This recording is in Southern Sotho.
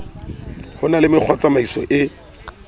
ho na le mekgwatsamaiso e